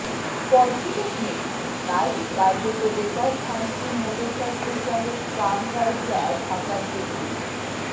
পর্যটক নেই তাই কার্যত বেকার থানচির মোটরসাইকেল চালক কাম গাইডরা ঢাকা ট্রিবিউন